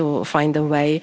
trying to